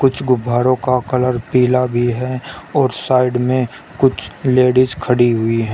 इस गुब्बारों का कलर पीला भी है और साइड में कुछ लेडिस खड़ी हुई है।